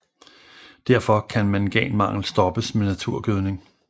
Derfor kan manganmangel stoppes med naturgødning